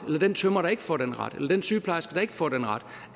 eller den tømrer der ikke får den ret eller den sygeplejerske der ikke får den ret